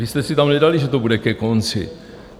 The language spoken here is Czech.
Vy jste si tam nedali, že to bude ke konci.